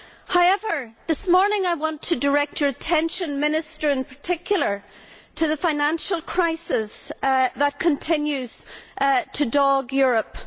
However, this morning I want to direct your attention, Minister, in particular, to the financial crisis that continues to dog Europe.